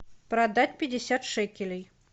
продать пятьдесят шекелей